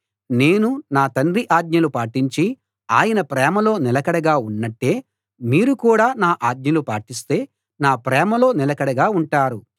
నేను నా తండ్రి ఆజ్ఞలు పాటించి ఆయన ప్రేమలో నిలకడగా ఉన్నట్టే మీరు కూడా నా ఆజ్ఞలు పాటిస్తే నా ప్రేమలో నిలకడగా ఉంటారు